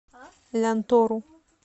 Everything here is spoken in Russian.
лянтору